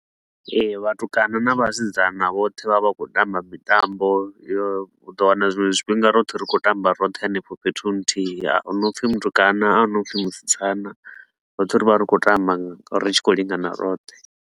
Ee, vhatukana na vhasidzana vhoṱhe vha vha khou tamba mitambo yo, u ḓo wana zwiṅwe zwifhinga roṱhe ri khou tamba roṱhe hanefho fhethu nthihi. A hu na u pfi mutukana, a hu na u pfi musidzana, roṱhe ri vha ri khou tamba ri tshi khou lingana roṱhe.